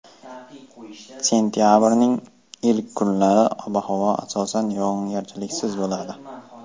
Sentabrning ilk kunlari ob-havo asosan yog‘ingarchiliksiz bo‘ladi.